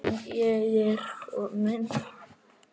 Já, já, ég er komin!